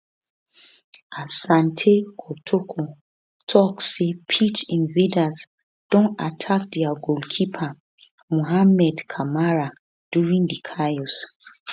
asante kotoko tok say pitch invaders don attack dia goalkeeper mohammed camara during di chaos